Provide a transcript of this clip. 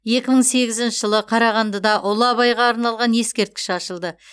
екі мың сегізінші жылы қарағандыда ұлы абайға арналған ескерткіш ашылды